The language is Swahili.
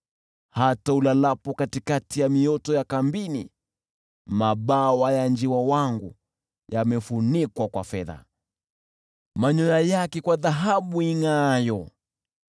Hata ulalapo katikati ya mioto ya kambini, mabawa ya njiwa wangu yamefunikwa kwa fedha, manyoya yake kwa dhahabu ingʼaayo.”